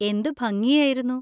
എന്ത് ഭംഗിയായിരുന്നു.